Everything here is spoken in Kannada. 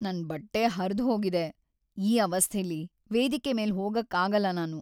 ನನ್ ಬಟ್ಟೆ ಹರ್ದ್‌ಹೋಗಿದೆ. ಈ ಅವಸ್ಥೆಲಿ ವೇದಿಕೆ ಮೇಲ್ ಹೋಗಕ್ಕಾಗಲ್ಲ ನಾನು.